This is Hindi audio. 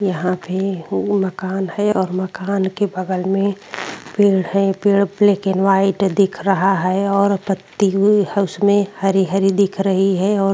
यहाँ पे हूँ मकान है और मकान के बगल मे पेड़ है पेड़ ब्लैक एंड वाइट दिख रहा है और पत्ती हुई हुसमें हरी हरी दिख रही है और --